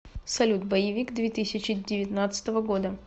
салют боевик две тысячи девятнадцатого года